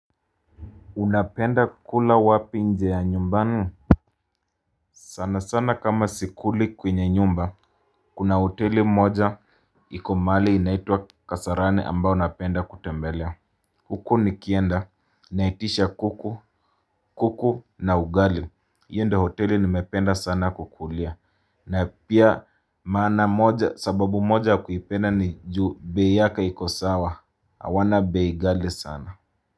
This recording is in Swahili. Unapenda kula wapi nje ya nyumbani? Sana sana kama sikuli kwenye nyumba kuna hoteli moja. Iko mahali inaitwa kasarani ambayo napenda kutembelea. Huku nikienda naitisha kuku kuku na ugali. Hiyo ndio hoteli nimependa sana kukulia. Na pia maana moja sababu moja kuipenda ni juu bei yake iko sawa. Hawana bei ghali sana.